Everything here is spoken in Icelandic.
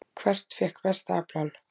Hvert fékk besta aflann?